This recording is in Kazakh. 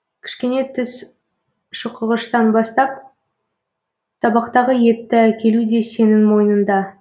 кішкене тіс шұқығыштан бастап табақтағы етті әкелу де сенің мойныңда